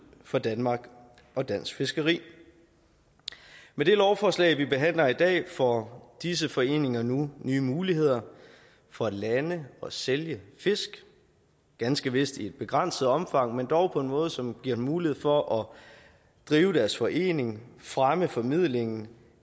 for danmark og dansk fiskeri med det lovforslag vi behandler i dag får disse foreninger nu nye muligheder for at lande og sælge fisk ganske vist i et begrænset omfang men dog på en måde som giver dem mulighed for at drive deres forening fremme formidlingen